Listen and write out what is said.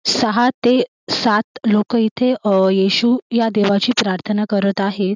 सहा ते सात लोक इथे येशू या देवाची प्रार्थना करत आहेत.